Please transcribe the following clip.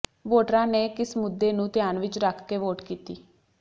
ਵੋਟਰਾਂ ਨੇ ਕਿਸ ਮੁੱਦੇ ਨੂੰ ਧਿਆਨ ਵਿਚ ਰੱਖ ਕੇ ਵੋਟ ਕੀਤੀ